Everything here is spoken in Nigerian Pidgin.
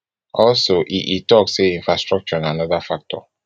also e e tok say infrastructure na anoda factor